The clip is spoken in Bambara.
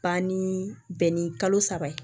Ban ni bɛn ni kalo saba ye